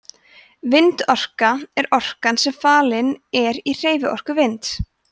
vindorka er orkan sem falin er í hreyfiorku vinds